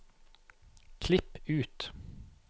Klipp ut